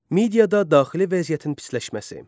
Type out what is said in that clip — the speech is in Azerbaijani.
Midiyada daxili vəziyyətin pisləşməsi.